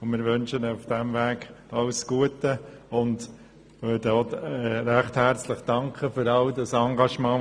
Wir wünschen ihr auf diesem Weg alles Gute und danken auch recht herzlich für ihr Engagement.